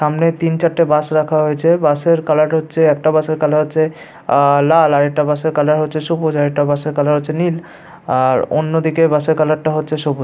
সামনে তিন চারটে বাশ রাখা হয়েছে বাঁশে এর কালার হচ্ছে একটা বাঁশে এর কালার হচ্ছে আ আ লাল একটা বাঁশে এর কালার হচ্ছে সবুজ আর একটা বাঁশে এর কালার হচ্ছে নীল আর অন্যদিকের বাস এর কালার হচ্ছে সবুজ ।